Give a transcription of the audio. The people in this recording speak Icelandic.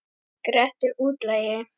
Grettir útlagi.